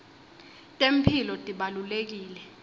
temphilo tibalulekile